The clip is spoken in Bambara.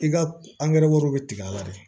I ka angɛrɛ bɛ tigɛ a la de